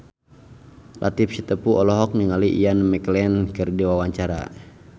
Latief Sitepu olohok ningali Ian McKellen keur diwawancara